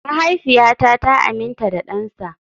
Mahaifiyata ta amince da dansa.